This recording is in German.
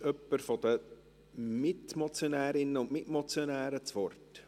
Wünscht jemand von den Mitmotionärinnen und Mitmotionären das Wort?